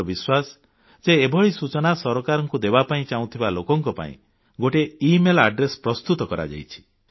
ମୋର ବିଶ୍ୱାସ ଯେ ଏଭଳି ସୂଚନା ସରକାରଙ୍କୁ ଦେବାପାଇଁ ଚାହୁଁଥିବା ଲୋକଙ୍କ ପାଇଁ ଗୋଟିଏ ଇମେଲ୍ ଠିକଣା ପ୍ରସ୍ତୁତ କରାଯାଇଛି